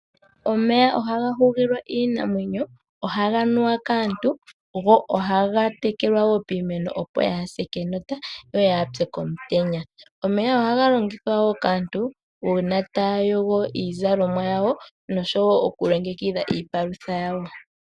Omeya ohaga hugilwa iinamwenyo, ohaga nuwa kaantu go ohaga tekelwa wo piimeno opo yaa se kenota, yo yaa pye komutenya. Omega ohaga longithwa wo kaantu uuna taya yogo iizalomwa yawo noshowo okulongekidha iipalutha yawo.